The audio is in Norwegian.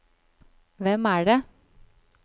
hvem er det